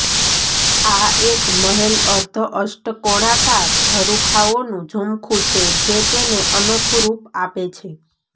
આ એક મહેલ અર્ધ અષ્ટકોણાકાર ઝરૂખાઓનું ઝુમખું છે જે તેને અનોખું રૂપ આપે છે